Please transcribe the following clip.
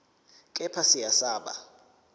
kepha siya siba